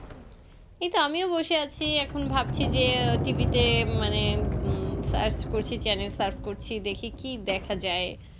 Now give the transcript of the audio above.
এই তো আমিও বসে আছি এখন ভাবছি যে TV তে মানে search করছি channel search করছি দেখি কি দেখা যায়